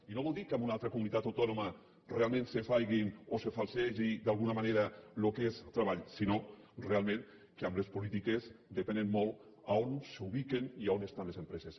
i no vol dir que en una altra comunitat autònoma realment se faci o es falsegi d’alguna manera el que és treball sinó realment que les polítiques depenen molt d’on s’ubiquen i on estan les empreses